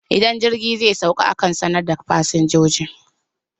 Idan jirgi zai sauka akan sanar da fasinjoji